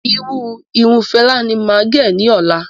Irú Irun Fela ní máa gẹ̀ ní ọ̀la